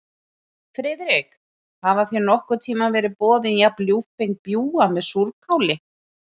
Friðrik, hafa þér nokkurn tíma verið boðin jafn ljúffeng bjúgu með súrkáli?